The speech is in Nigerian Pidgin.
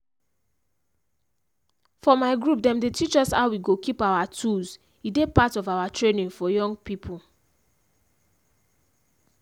for my group them dey teach us how we go keep our tools e dey part of our training for young people.